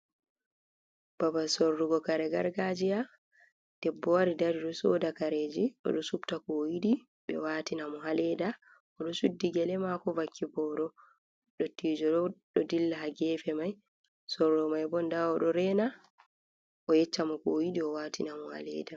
Babal sorrugo kare gargajiya. Ɗebbo wari ɗari ɗo soɗa kareji. Oɗo subta ko o yidi, be watina mo ha leda. Oɗo shuɗɗi gele mako vakki boro. Ɗottijoɗo ɗo dilla ha gefe mai. sorrumai bo nɗa oɗo reena o yeccamo ko o yiɗi o watina mo ha leɗa.